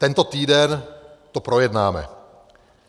Tento týden to projednáme.